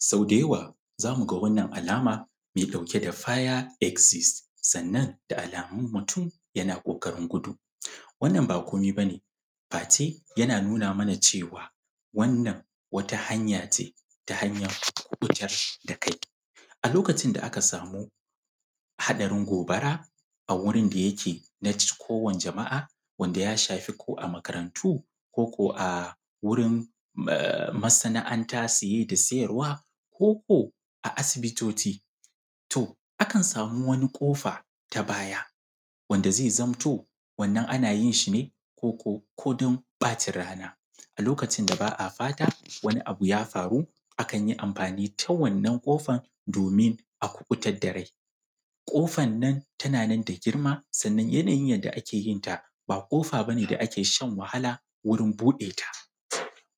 Soo da yawa, za mu ɡa wannan alama mai ɗauke da faya eszis, sannan da alamun mutum yana ƙoƙari ɡudu. Wannan ba komai ba ne face yana nuna mana cewa wannan wata hanya ce ta hanyan fiitar da kai a lokacin da aka samu haɗarin ɡobara a wurin da yake, naci, ko jama’a, wanda ya shafi ko da makarantu, ko ko a wurin a masana’antaa, siye da siyarwa, ko ko a asibitooci. To, akan samu wani ƙofaa ta baya wanda ze zamto wannan ana yin shi ne ko ko ko dan ɓaacin rana. A lokacin da ba a fata wani abu ya faru, akan yi amfani da wannan ƙofan, domin a kuɓutar da rai. Ƙofan nan tanan ne da ɡirma, sannan yanayin yadda ake yin ta ba ƙofa ba ne da ake shan wahala wurin buɗe ta,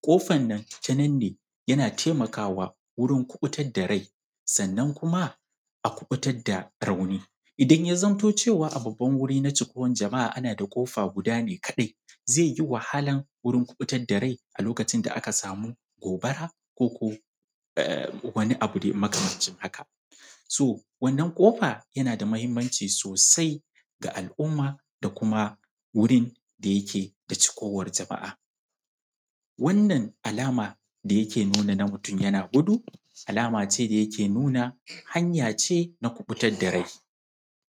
ƙofan nan tanan ne yana taimakawa wurin kuɓutar da rai, sannan kuma a kuɓutar da raauni, idan ya zamto cewa a babban wuri na cikuwan jama’a, ana da ƙofaar ɡuda ne kaɗai, ze yi wahalaa wurin kuɓutar da rai a lokacin da aka saamu ɡobara, ko ko wani abu makamaancin haka. So wannan ƙofa yana da mahinmanci sosai ɡa al’umma, da kuma wurin da yake da cikuwan jama’aa. Wannan alama da yake nuuna na mutum yana ɡudu, alamace da yake nuuna hanya ce na kuɓutar da rai.